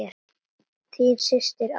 Þín systir, Ásdís.